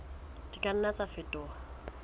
di ka nna tsa fetoha